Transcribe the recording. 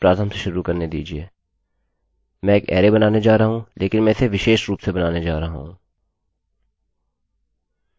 मैं एक अरैarrayबनाने जा रहा हूँलेकिन मैं इसे विशेष रूप से बनाने जा रहा हूँ